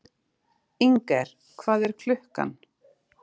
Inger, hvað er klukkan?